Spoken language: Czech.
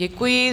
Děkuji.